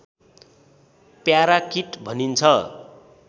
parakeet भनिन्छ